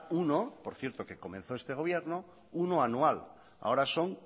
uno por cierto que comenzó este gobierno uno anual ahora son